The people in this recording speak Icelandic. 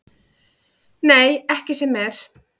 Nei, ekki sem er.